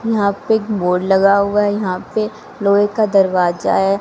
यहां पे एक बोर्ड लगा हुआ है यहां पे एक लोहे का दरवाजा है।